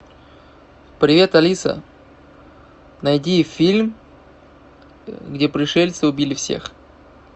привет алиса найди фильм где пришельцы убили всех